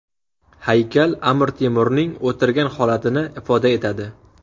Haykal Amir Temurning o‘tirgan holatini ifoda etadi.